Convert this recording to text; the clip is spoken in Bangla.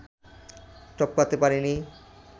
টপকাতে পারেনি